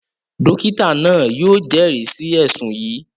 Dókítà náà yóò jẹ́rìí sí ẹ̀ṣùn yìí